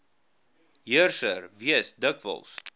heerser wees dikwels